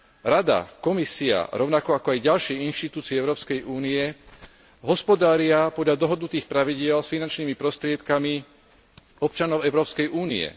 Rada, Komisia rovnako ako aj ďalšie inštitúcie Európskej únie hospodária podľa dohodnutých pravidiel s finančnými prostriedkami občanov Európskej únie.